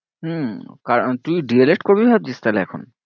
হম আর তুই D. el. ed করবি ভাবছিস তাহলে এখন?